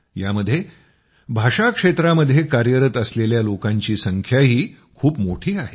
यामध्ये भाषा क्षेत्रामध्ये कार्यरत असलेल्या लोकांची संख्याही खूप मोठी आहे